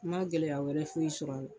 N ma gɛlɛya wɛrɛ foyi sɔrɔ a la